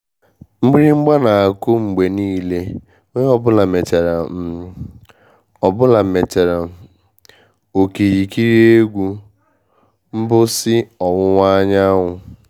mgbịrịgba n'aku mgbe nile onye ọbụla mechara um ọbụla mechara um okirikiri egwu mgbụsị ọwụwa anyanwụ.